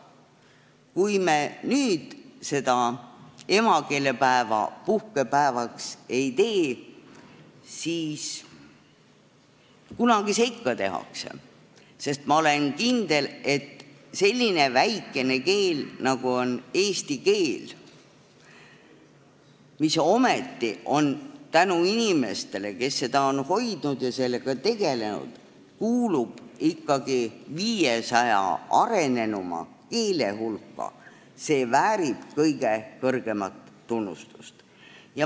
Kui me nüüd emakeelepäeva puhkepäevaks ei tee, siis kunagi seda ikka tehakse, sest ma olen kindel, et selline väikene keel, nagu on eesti keel, mis tänu inimestele, kes on seda hoidnud ja sellega tegelenud, kuulub 500 arenenuma keele hulka, väärib kõige kõrgemat tunnustust.